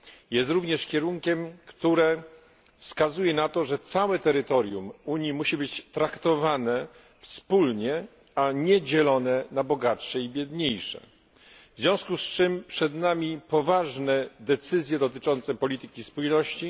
Jest również kierunkiem, który wskazuje na to, że całe terytorium Unii musi być traktowane wspólnie, a nie dzielone na bogatsze i biedniejsze. W związku z czym przed nami poważne decyzje dotyczące polityki spójności.